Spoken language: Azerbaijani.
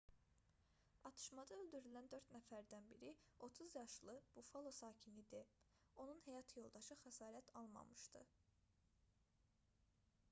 atışmada öldürülən dörd nəfərdən biri 30 yaşlı buffalo sakini idi onun həyat yoldaşı xəsarət almamışdı